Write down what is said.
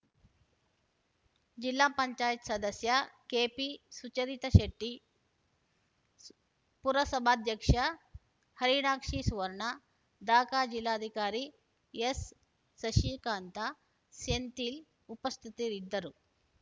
ಜಿಲ್ಲಾ ಪಂಚಾಯತ್ ಸದಸ್ಯ ಕೆಪಿಸುಚರಿತ ಶೆಟ್ಟಿ ಪುರಸಭಾಧ್ಯಕ್ಷೆ ಹರಿಣಾಕ್ಷಿ ಸುವರ್ಣ ದಕ ಜಿಲ್ಲಾದಿಕಾರಿ ಎಸ್ಸಸಿಕಾಂತ ಸೆಂಥಿಲ್ ಉಪಸ್ಥಿತರಿದ್ದರು